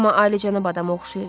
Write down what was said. Amma alicənab adama oxşayır.